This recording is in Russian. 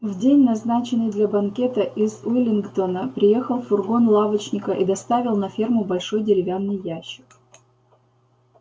в день назначенный для банкета из уиллингдона приехал фургон лавочника и доставил на ферму большой деревянный ящик